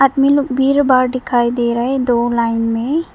बीर बार दिखाई दे रहा है दो लाइन में।